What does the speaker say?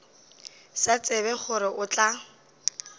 sa tsebe gore o tla